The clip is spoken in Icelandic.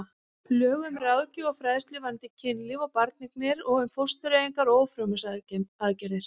Lög um ráðgjöf og fræðslu varðandi kynlíf og barneignir og um fóstureyðingar og ófrjósemisaðgerðir.